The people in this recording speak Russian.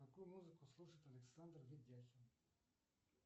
какую музыку слушает александр ведяхин